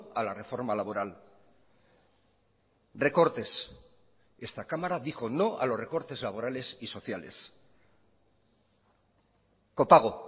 a la reforma laboral recortes esta cámara dijo no a los recortes laborales y sociales copago